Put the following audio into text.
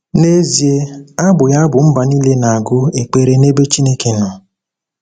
N’ezie, abụghị abụ mba niile na-agụ ekpere n’ebe Chineke nọ.